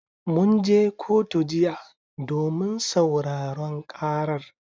Mun je kotu jiya domin sauraron karar.